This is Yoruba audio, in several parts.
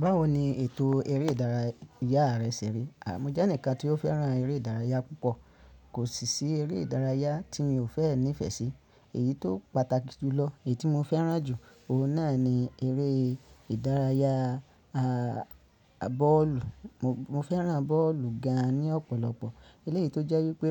Báwo ni ètò eré ìdára, yá rẹ ṣẹ ri? A, mo jẹ́ eǹikan tí ó fẹ́ràn eré ìdárayá púpọ̀. Kò sì sí eré ìdárayá tí mi ò fẹ́ ní ìfẹ́ sí. Èyí tó pàtàkì jùlọ, èyí tí mo fẹ́ràn jù, òun náà ni eré ìdárayá, a, bọ́ọ̀lù. Mo fẹ́ràn bọ́ọ̀lù gan-an ní ọ̀pọ̀lọpọ̀. Eléyìí tó jẹ́ wípé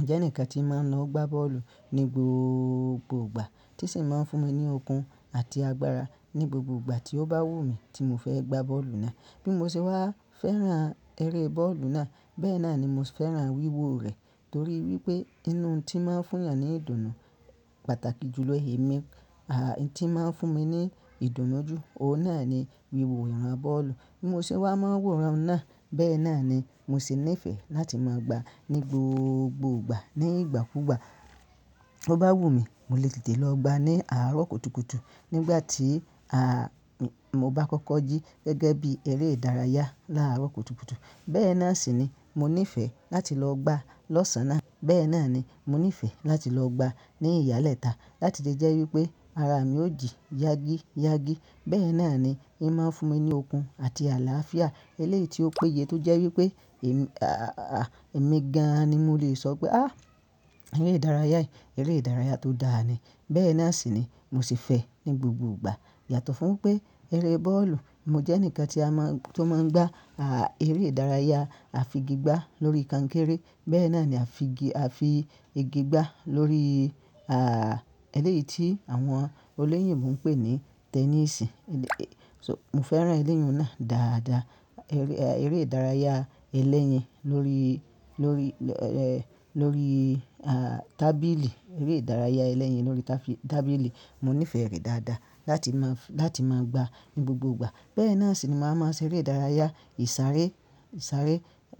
ǹjẹ́ eǹikan tí máa ń lọ gbá bọ́ọ̀lù ní gbogbo gbà tí sì ń máa ń fún mi ní okun àti agbára ní gbogbo gbà tí ó bá wù mí tí mo fẹ́ gbá bọ́ọ̀lù náà. Bí mo ṣe wá fẹ́ràn eré bọ́ọ̀lù náà, bẹ́ẹ̀ náà ni mo sì fẹ́ràn wíwo rẹ̀ torí wípé inú tí máa ń fún eeyàn ní ìdùnnú pàtàkì jùlọ iye mí, à, n tí ń máa ń fún mi ní ìdùnnú jù, òun náà ni wíwo ìran bọ́ọ̀lù. Bí mo ṣe wá máa wòran náà, bẹ́ẹ̀ náà ni mo sì nífẹ̀ẹ́ láti máa gbá ní gbogbo gbà. Ní ìgbàkúùgbà tó bá wù mí, mo lè tètè lọ gbá ní àárọ̀ kùtùkùtù. Nígbà tí, a, mi, mo bá kọ́kọ́ jí gẹ́gẹ́ bí eré ìdárayá láàárọ̀ kùtùkùtù, bẹ́ẹ̀ náà sì ni mo nífẹ̀ẹ́ láti lọ gbá lọ́sàn-án náà. Bẹ́ẹ̀ náà ni mo nífẹ̀ẹ́ láti lọ gbá ní ìyálẹ́ta láti lè jẹ́ wípé ara mi ó jí yágíyágí. Bẹ́ẹ̀ náà ni í máa ń fún mi ní okun àti àlàáfíà. Eléyìí tí ó péye tó jẹ́ wípé èmi, a, èmi gan-an ni mo lè sọ pé à, eré ìdárayá yi, eré ìdárayá tó dáa ni. Bẹ́ẹ̀ náà sì ni mo sì fẹ́ ní gbogbogbà. Yàtọ̀ fún pé eré bọ́ọ̀lù, mo jẹ́ eǹikan tí a máa ń, tí ó máa ń gbá, a, eré ìdárayá a fi igi gbá lórí kankéré. Bẹ́ẹ̀ náà ni a fi igi, a fi igi gbá lórí, a, eléyìí tí àwọn olóyìnbo ń pè ní tẹnísì. So mo fẹ́ràn ẹlẹ́yì náà dáadáa. Eré, e, eré ìdárayá ẹlẹ́yìn lórí, lórí, ẹ, lórí, a, tábìlì, eré ìdárayá ẹlẹ́yìn lórí táfi-tábìlì mo nífẹ̀ẹ́ rẹ̀ dáadáa láti máa f-láti máa gbá ní gbogbo gbà. Bẹ́ẹ̀ náà sì ni màá máa ṣe eré ìdárayá ìsáré, ìsáré,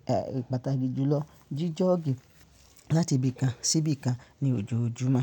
a, pàtàkì jùlọ jí jọ̀ọ́gì láti ibì kan sí ibì kan ní ojoojúmọ́.